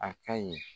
A ka ɲi